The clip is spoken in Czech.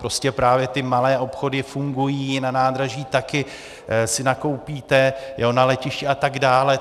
Prostě právě ty malé obchody fungují, na nádraží si taky nakoupíte, na letišti a tak dále.